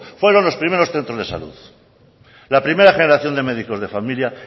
fueron los primeros centros de salud la primera generación de médicos de familia